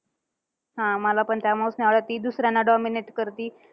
हा मलापण त्यामुळेच नाही आवडत. ती दुसऱ्यांना dominate करती.